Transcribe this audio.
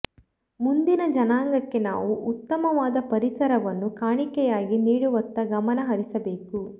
ಮುಂದಿನ ಜನಾಂಗಕ್ಕೆ ನಾವು ಉತ್ತಮವಾದ ಪರಿಸರವನ್ನು ಕಾಣಿಕೆಯಾಗಿ ನೀಡುವತ್ತ ಗಮನ ಹರಿಸಬೇಕು